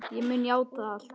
Ég mun játa allt.